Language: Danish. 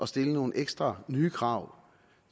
stille nogle ekstra nye krav